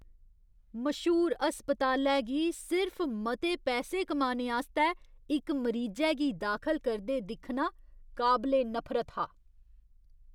मश्हूर अस्पतालै गी सिर्फ मते पैसे कमाने आस्तै इक मरीजै गी दाखल करदे दिक्खना काबले नफरत हा।